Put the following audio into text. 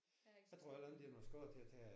Jeg har ikke så travlt